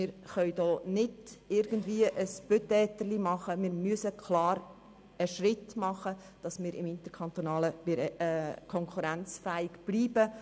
Wir können keine halbherzigen Versuche starten, sondern müssen einen Schritt machen, um interkantonal konkurrenzfähig zu bleiben.